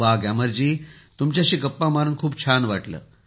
ग्यामर जी तुमच्याशी गप्पा मारून छान वाटले